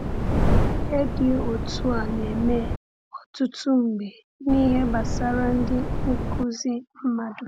Ihe dị otu a na-eme ọtụtụ mgbe n’ihe gbasara ndị nkuzi mmadụ.